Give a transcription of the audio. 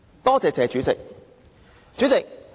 多謝"謝主席"。